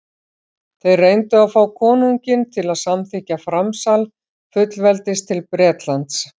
þeir reyndu að fá konunginn til að samþykkja framsal fullveldis til bretlands